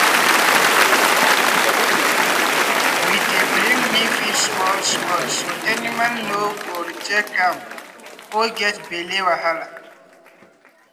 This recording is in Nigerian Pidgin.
we dey bring new feed small-small so animal no go reject am or get belle wahala.